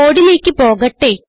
കോഡിലേക്ക് പോകട്ടെ